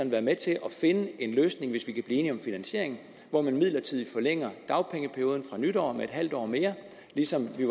være med til at finde en løsning hvis vi kan blive enige om finansieringen hvor man midlertidigt forlænger dagpengeperioden fra nytår med en halv år mere ligesom vi i